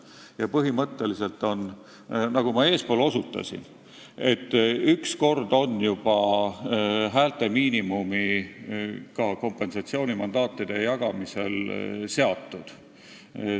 Ja põhimõtteliselt on, nagu ma eespool osutasin, üks kord juba häältemiinimum ka kompensatsioonimandaatide jagamisel seatud.